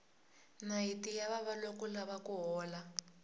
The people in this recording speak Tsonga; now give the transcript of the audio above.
nayiti ya vava loko u lava ku hola